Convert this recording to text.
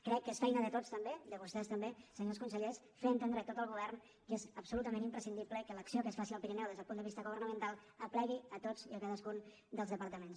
crec que és feina de tots també de vostès també senyors consellers fer entendre a tot el govern que és absolutament imprescindible que l’acció que es faci al pirineu des del punt de vista governamental aplegui tots i cadascun dels departaments